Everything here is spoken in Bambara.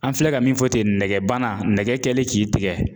An filɛ ka min fɔ ten nɛgɛ bana nɛgɛ kɛlen k'i tigɛ.